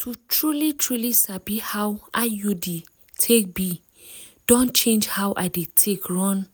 to truly-truly sabi how iud take be don change how i dey take run